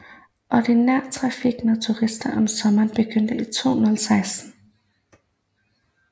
Ordinær trafik med turister om sommeren begyndte i 2016